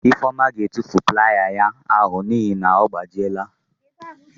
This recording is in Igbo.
Ifeoma ga-atufu playa ya ahụ n'ihi na ọ gbajiela.